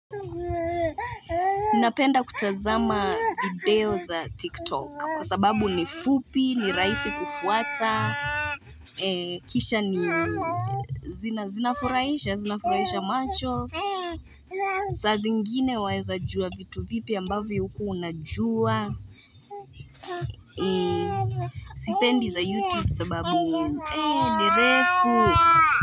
Ninapenda kutazama video za tiktok kwa sababu ni fupi ni rahisi kufuata ee kisha ni zina zina furahisha zina furahisha macho saa zingine waeza jua vitu vipya ambavyo ukuwa unajua sipendi za youtube sababu ee ni refu.